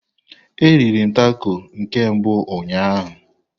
M riri tako na nke mbụ ụnyaahụ.